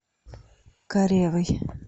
каревой